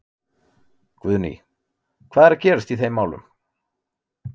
Guðný: Hvað er að gerast í þeim málum?